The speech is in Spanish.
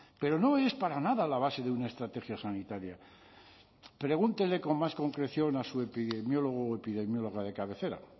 pero no es para nada la base de una estrategia sanitaria pregúntele con más concreción a su epidemiólogo o epidemióloga de cabecera